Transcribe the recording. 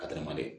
Ka teliman dɛ